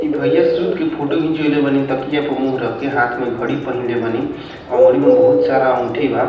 भैया सूत के फोटो घिंचवएले बानी तकिया पे मुँह रख के हाथ मे घड़ी पहिनले बानी अंगूरी में बहुत सारा अंगूठी बा।